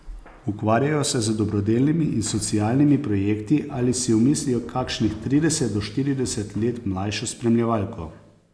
Ukvarjajo se z dobrodelnimi in socialnimi projekti ali si omislijo kakšnih trideset do štirideset let mlajšo spremljevalko.